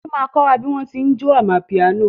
Títí ma kọ́ bí wọ́n tí ń jó amapiano